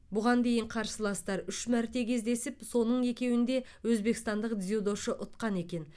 бұған дейін қарсыластар үш мәрте кездесіп соның екеуінде өзбекстандық дзюдошы ұтқан екен